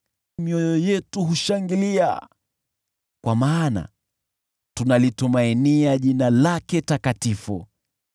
Mioyo yetu humshangilia, kwa maana tunalitumainia jina lake takatifu.